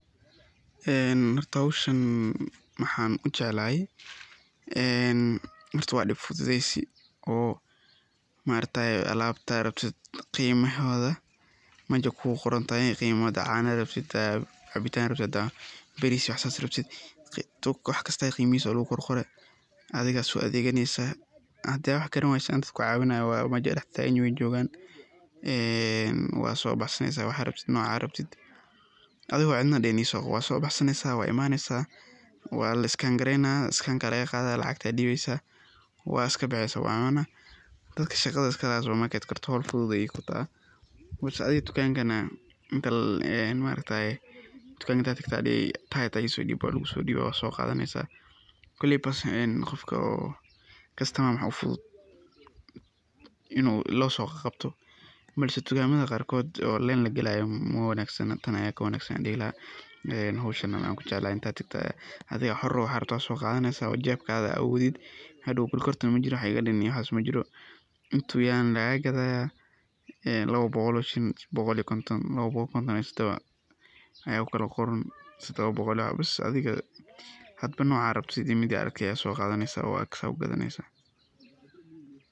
Een xorta xowshaan maaxan ujeclaxay, een xorta wa dib fufudeysi oo maaraktaye alabta rabtit qimaxodha meshay kugorontaxay, gimaxa xadhad cano rabtit, xadhat cabitan rabtit, xadhat batis iyo wax sas rabtit, waxkasta iyo gimixisa walaguqorqore adhiga so adheganesaa, xadhadh wax qaranwayso dad kucawinayo meah way jogan, een wa sobaxsaneysaa wax rabtit noca rabtit, adhigo cedna dixin iso wa sobaxsaneysa wa imaneysaa, wala is scan scanka lagaqadha lacagta diweysaa, wa iskabaxeysa wana dadka shagaadha iskalaxay supermarket xol fudud aya kutaxaa, whicj adiga dukankana, inta maaraktayee, dukanka inta tagto aya dixii sheyga isodib walagusodiwa wasogadheysa, koleyba enn gofka oo customer waxa ufudud iju sosoqaqabto, balse dukamadha qarkodh, oo len lagalayo mawanagsana tan aya wakanagsan ayan dixilaxay, een xowshana waxan kujeclaxay inta tagta adhiga xor uax waxa rabto aya soqadhaneysa o jebkadha adh awodid, xadow gorgortam majiro wax ikadim waxas majiro, intu yaxay ayana lagagadhaya, lawo bogol oo shilin, bogol iyo konton, labo bogol konton iyo tadhawaa, aya kukalaqoran, tadhawa bogol iyo wax bis adhiga xadba noca rabto midii arki aya soqadhaneysaa oo adh kasogadhaneysaa.